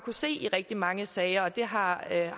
se i rigtig mange sager og det har jeg